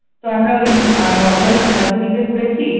তো আমরা ওই আহ নরমাল সোনাঝুড়িতে ঘুরেছি